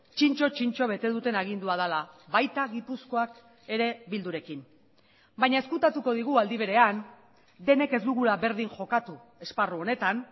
txintxo txintxo bete duten agindua dela baita gipuzkoak ere bildurekin baina ezkutatuko digu aldi berean denek ez dugula berdin jokatu esparru honetan